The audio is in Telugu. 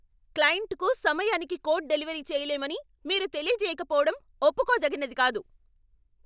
క్లయింట్కు సమయానికి కోడ్ డెలివరీ చేయలేమని మీరు తెలియజేయకపోవడం ఒప్పుకోతగినది కాదు.